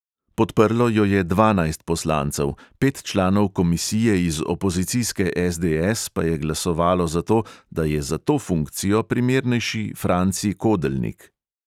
Podprlo jo je dvanajst poslancev, pet članov komisije iz opozicijske SDS pa je glasovalo za to, da je za to funkcijo primernejši franci kodelnik.